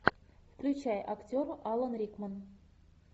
включай актер алан рикман